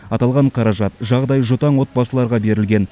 аталған қаражат жағдайы жұтаң отбасыларға берілген